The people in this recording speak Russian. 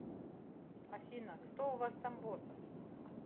афина кто у вас там босс